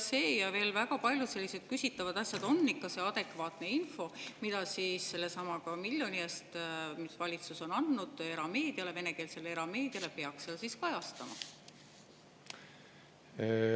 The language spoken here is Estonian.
Kas see ja veel väga paljud küsitavad asjad on ikka see adekvaatne info, mida sellesama miljoni eest, mis valitsus on andnud venekeelsele erameediale, peaks seal kajastama?